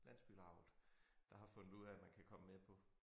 Landsbylauget der har fundet ud af man kan komme med på